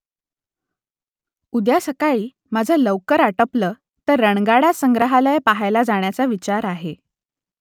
उद्या सकाळी माझं लवकर आटपलं तर रणगाडा संग्रहालय पहायला जाण्याचा विचार आहे